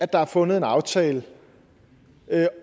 der er fundet en aftale